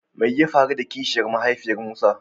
Me ya faru da Kishiyar mahaifiyan Musa?